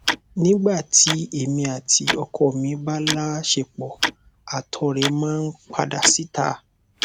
nígbà tí èmi àti ọkọ mi bá láọṣepọ àtọ rẹ máa ń padà síta